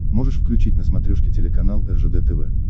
можешь включить на смотрешке телеканал ржд тв